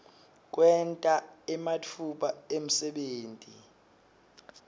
kwenta ematfuba emsebenti